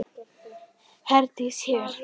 Herdís hér.